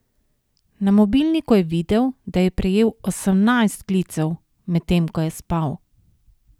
Na mobilniku je videl, da je prejel osemnajst klicev, medtem ko je spal.